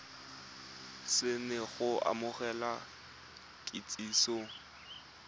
se na go amogela kitsiso